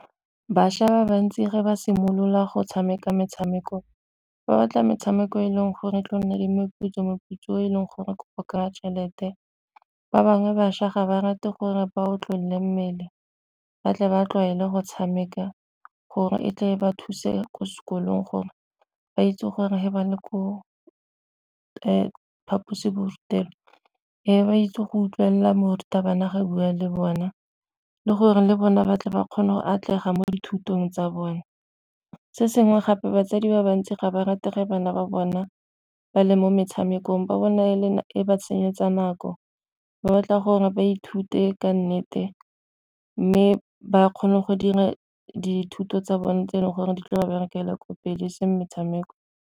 Bašwa ba bantsi ga ba simolola go tshameka metshameko ba batla metshameko e leng gore go nne le meputso, meputso o e leng gore tšhelete ba bangwe bašwa ga ba rate gore ba otlolole mmele ba tle ba tlwaele go tshameka gore e tle ba thuse ko sekolong gore ba itse gore ba le ko phaposiborutelo e ba itse go utlwelela morutabana ga a bua le bona le gore le bona ba tle ba kgone go atlega mo dithutong tsa bone. Se sengwe gape batsadi ba bantsi ga ba rate ge bana ba bona ba le mo metshamekong ba bone e ba senyetsa nako, ba batla gore ba ithute ka nnete mme ba kgone go dira dithuto tsa bone tse e leng gore di tla ba berekela ka pele e seng metshameko.